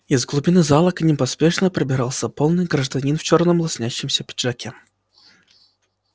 из глубины зала к ним поспешно пробирался полный гражданин в чёрном лоснящемся пиджаке